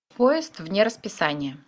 поезд вне расписания